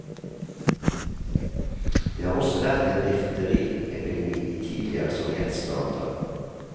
Det har også vært en difteriepidemi i tidligere sovjetstater.